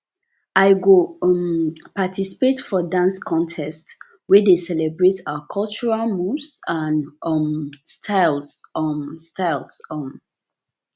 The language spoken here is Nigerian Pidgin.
i go um participate for dance contest wey dey celebrate our cultural moves and um styles um styles um